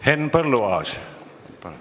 Henn Põlluaas, palun!